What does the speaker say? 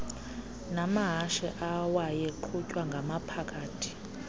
namahashe awayeqhutwya ngamaphakathi